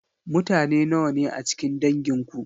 Mutane nawa ne a cikin dangin ku?